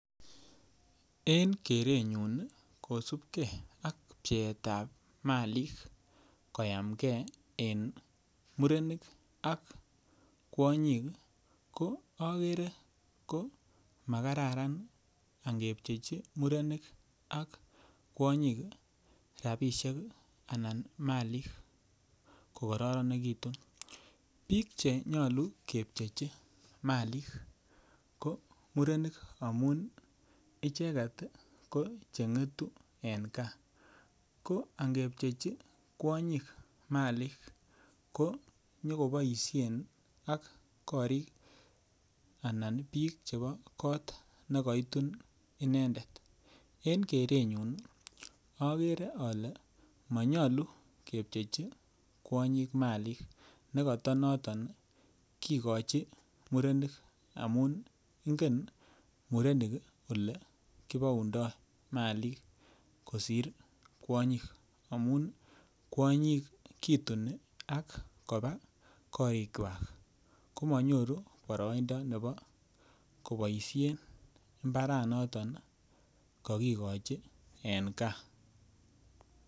Eng kerenyu kosupkei ak pcheet ap malik koyamkei eng murenik ak kwonyik ko akere komakaram angepchechi murenik ak kwonyik rapishek anan malik kokororonitu piik chenyalu kepchechi malik ko murenik amun icheket ko cheng'etu en kaa ko angepchechi kwonyik malik ko nyokoboishen ak korik anan piik chepo koot nekaitun inendet en keren nyun akere ale manyalu kepchechi kwonyik malik nekatanoton kikochi murenik amun ng'en murenik ole kupoundoi malik kosir kwonyik amun kwonyik kituni ak kopa korik kwach komanyoru poroindo nepo kopoishe mbaranoton kakikochi en kaa.